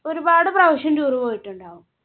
ഒരുപാട് പ്രാവശ്യം tour പോയിട്ടുണ്ടാവും.